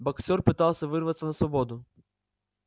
боксёр пытался вырваться на свободу